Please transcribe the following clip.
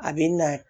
A bɛ na